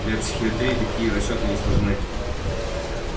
для психоистории такие расчёты несложны